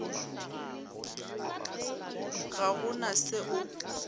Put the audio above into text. ga go na se o